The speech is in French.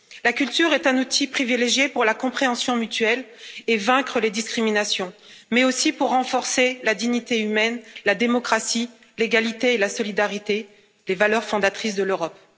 La culture est un outil privilégié pour la compréhension mutuelle et pour vaincre les discriminations mais aussi pour renforcer la dignité humaine, la démocratie, l'égalité et la solidarité les valeurs fondatrices de l'Europe.